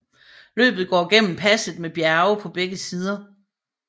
Løbet går gennem passet med bjerge på begge sider